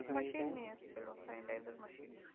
সে নিয়ে এসেছিলো sanitizer machine